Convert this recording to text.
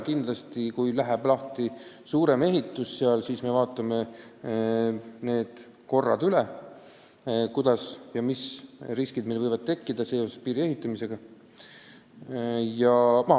Kindlasti, kui läheb lahti suurem ehitus, siis me vaatame kehtiva korra üle ja arutame, mis riskid seoses piiri ehitamisega võivad tekkida.